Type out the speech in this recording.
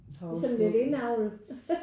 Sådan lidt indavl